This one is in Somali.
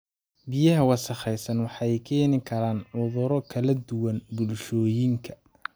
Biyaha wasakhaysan waxay keeni karaan cuduro kala duwan bulshooyinka.